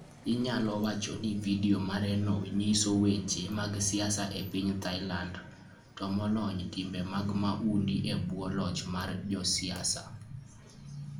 Inyalo wach ni vidio mareno nyiso weche mag siasa e piny Thailand, to moloyo timbe mag mahundu e bwo loch mar josiasa.